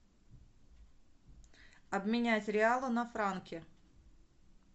обменять реалы на франки